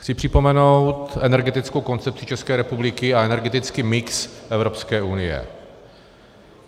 Chci připomenout energetickou koncepci České republiky a energetický mix Evropské unie.